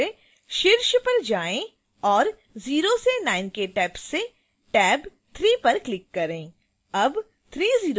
अब फिर से शीर्ष पर जाएँ और 0 से 9 के टैब्स से टैब 3 पर क्लिक करें